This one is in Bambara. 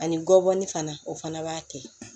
Ani gɔbɔni fana o fana b'a kɛ